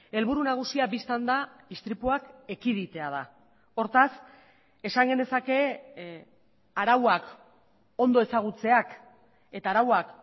helburu nagusia bistan da istripuak ekiditea da hortaz esan genezake arauak ondo ezagutzeak eta arauak